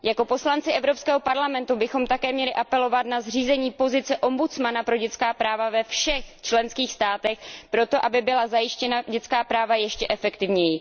Jako poslanci Evropského parlamentu bychom také měli apelovat na zřízení pozice ombudsmana pro dětská práva ve všech členských státech, proto aby byla zajištěna dětská práva ještě efektivněji.